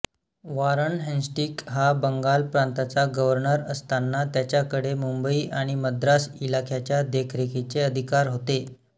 Warren Hastings हा बंगाल प्रांताचा governor असताना त्याच्याकडे मुंबई आणि मद्रास इलाख्याच्या देखरेखीचे अधिकार होते